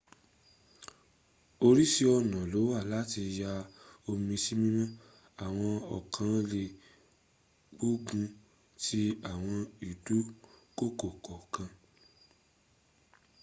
orísìí ọ̀nà lówà láti ya omi sí mímọ́ àwọn ọ̀kan lè gbógun ti àwọn ìdúnkokò kọ̀ọ̀kan